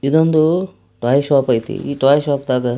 ಇದೊಂದು toy shop ಆಯಿತೇ ಈ ಟೊಯ್ ಶಾಪ್ ತಗ--